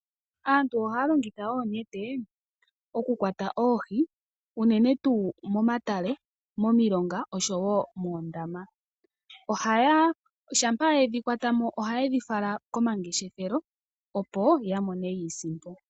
Aantu ohaya longitha oonete okukwata oohi uunene tuu momatale, momilonga oshowo moondama shampa yedhi kwata mo ohaye dhi fala komangeshefelo opo ya mone iisimpo.